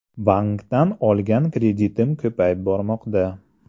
Bankdan olgan kreditim ko‘payib bormoqda.